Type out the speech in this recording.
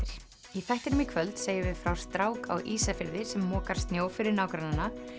í þættinum í kvöld segjum við frá strák á Ísafirði sem mokar snjó fyrir nágrannana